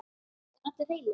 Eru allir heilir?